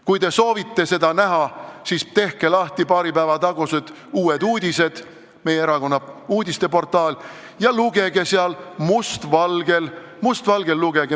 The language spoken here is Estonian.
Kui te soovite seda näha, siis tehke lahti Uued Uudised, meie erakonna uudiste portaal, ja lugege sealt must valgel paari päeva taguseid uudiseid.